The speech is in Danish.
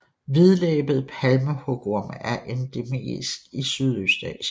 Hvidlæbet palmehugorm er endemisk i Sydøstasien